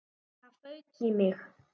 Það fauk í mig.